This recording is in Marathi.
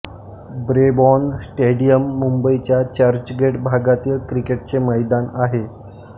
ब्रेबॉर्न स्टेडियम मुंबईच्या चर्चगेट भागातील क्रिकेटचे मैदान आहे